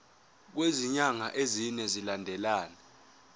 kwezinyanga ezine zilandelana